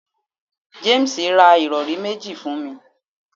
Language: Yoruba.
James ra irọri meji fun mi